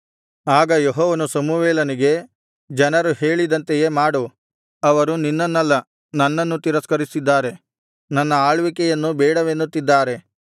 ಆಗ ಯೆಹೋವನು ಸಮುವೇಲನಿಗೆ ಜನರು ಹೇಳಿದಂತೆಯೇ ಮಾಡು ಅವರು ನಿನ್ನನ್ನಲ್ಲ ನನ್ನನ್ನು ತಿರಸ್ಕರಿಸಿದ್ದಾರೆ ನನ್ನ ಆಳ್ವಿಕೆಯನ್ನು ಬೇಡವೆನ್ನುತ್ತಿದ್ದಾರೆ